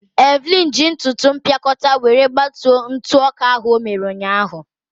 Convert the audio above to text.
Evelyn ji ntụtụ mpịakọta were gbatuo ntụ ọka ahụ o mere ụnyaahụ.